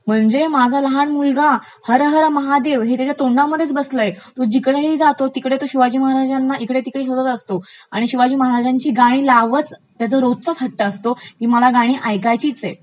म्हणजे माझा मुलगा हर हर महदेव हे त्याच्या तोंडामध्येच बसलयं, तो जिकडेही जातो तिकडे शिवाजी महाराजांना इकडे तिकडे शोधत असतो आणि शिवाजी महाराजांची गाणी लावचं असा त्याचा रोजचाच हट्ट् असतो, की मला गाणी ऐकायचीच आहेत.